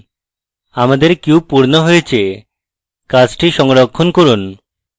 আমাদের cube পূর্ণ হয়েছে কাজটি সংরক্ষণ করুন